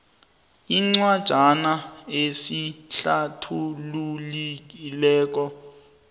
incwajana esihlathululi le